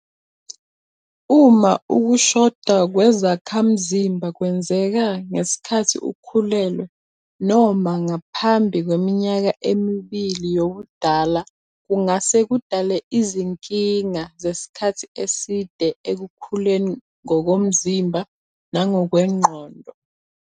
Uma ukushoda kwezakhamzimba kwenzeka ngesikhathi ukhulelwe noma ngaphambi kweminyaka emibili yobudala kungase kudale izinkinga zesikhathi eside ekukhuleni ngokomzimba nangokwengqondo.